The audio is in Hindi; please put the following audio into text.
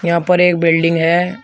यहां पर एक बिल्डिंग है।